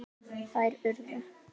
Þær urðu